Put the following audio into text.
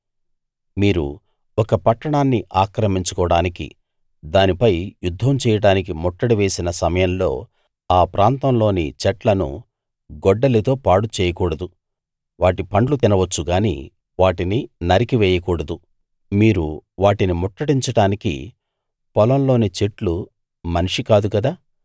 మీరు ఒక పట్టాణాన్ని ఆక్రమించుకోవడానికి దానిపై యుద్ధం చేయడానికి ముట్టడి వేసిన సమయంలో ఆ ప్రాంతంలోని చెట్లను గొడ్డలితో పాడు చేయకూడదు వాటి పండ్లు తినవచ్చు గాని వాటిని నరికి వేయకూడదు మీరు వాటిని ముట్టడించడానికి పొలంలోని చెట్లు మనిషి కాదు కదా